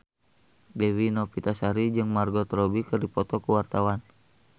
Dewi Novitasari jeung Margot Robbie keur dipoto ku wartawan